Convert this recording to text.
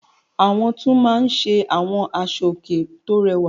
Àwọn tún máa ń ṣe àwọn aṣọòkè tó rẹwà.